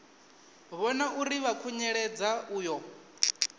vhona uri vha khunyeledza uyo